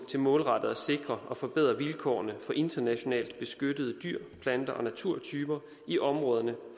til målrettet at sikre og forbedre vilkårene for internationalt beskyttede dyre plante og naturtyper i områderne